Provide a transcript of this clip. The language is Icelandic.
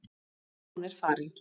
Þegar hún er farin.